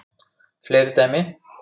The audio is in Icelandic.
Fleiri dæmi